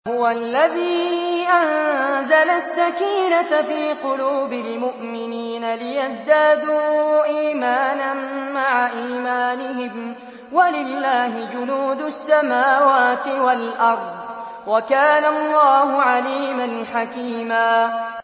هُوَ الَّذِي أَنزَلَ السَّكِينَةَ فِي قُلُوبِ الْمُؤْمِنِينَ لِيَزْدَادُوا إِيمَانًا مَّعَ إِيمَانِهِمْ ۗ وَلِلَّهِ جُنُودُ السَّمَاوَاتِ وَالْأَرْضِ ۚ وَكَانَ اللَّهُ عَلِيمًا حَكِيمًا